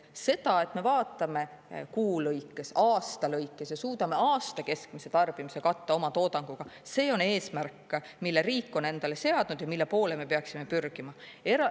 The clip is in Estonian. See, et me vaatame kuu lõikes, aasta lõikes ja suudame aasta keskmise tarbimise katta oma toodanguga – see on eesmärk, mille riik on endale seadnud või mille poole me peaksime pürgima.